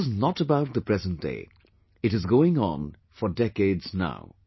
And this is not about the present day; it is going on for decades now